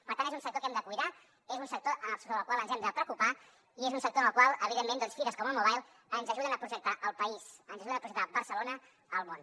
per tant és un sector que hem de cuidar és un sector sobre el qual ens hem de preocupar i és un sector en el qual evidentment fires com el mobile ens ajuden a projectar el país ens ajuden a projectar barcelona al món